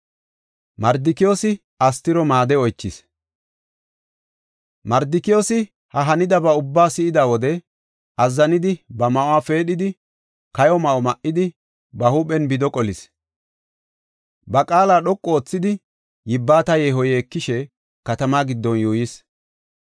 Mardikiyoosi ha hanidaba ubbaa si7ida wode, azzanidi ba ma7uwa peedhidi, kayo ma7o ma7idi, ba huuphen bido qolis. Ba qaala dhoqu oothidi, yibbata yeeho yeekishe, katamaa giddon yuuyis.